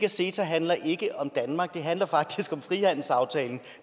af ceta handler ikke om danmark den handler faktisk om frihandelsaftalen